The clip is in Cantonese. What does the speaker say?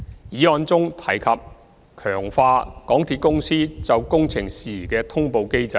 議案中提及強化港鐵公司就工程事宜的通報機制。